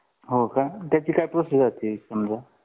हो का त्याची काय प्रोसेस असते समजा